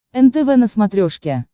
нтв на смотрешке